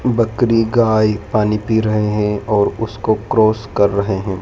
बकरी गाय पानी पी रहे हैं और उसको क्रॉस कर रहे है।